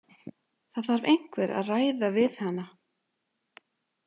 Það þarf einhver að ræða við hana.